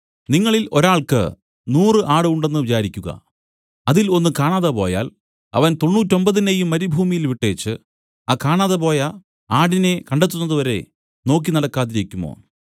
നിങ്ങളിൽ ഒരു ആൾക്ക് നൂറു ആട് ഉണ്ട് എന്നു വിചാരിക്കുക അതിൽ ഒന്ന് കാണാതെ പോയാൽ അവൻ തൊണ്ണൂറ്റൊമ്പതിനെയും മരുഭൂമിയിൽ വിട്ടേച്ചു ആ കാണാതെപോയ ആടിനെ കണ്ടെത്തുന്നതുവരെ നോക്കി നടക്കാതിരിക്കുമോ